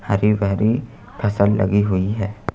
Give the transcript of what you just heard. हरी बहरी फसल लगी हुई है।